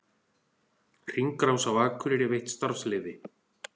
Hringrás á Akureyri veitt starfsleyfi